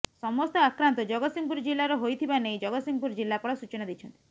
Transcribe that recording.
ସମସ୍ତ ଆକ୍ରାନ୍ତ ଜଗତସିଂହପୁର ଜିଲାର ହୋଇଥିବା ନେଇ ଜଗତସିଂହପୁର ଜିଲାପାଳ ସୂଚନା ଦେଇଛନ୍ତି